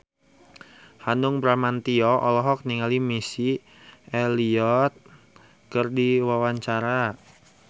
Hanung Bramantyo olohok ningali Missy Elliott keur diwawancara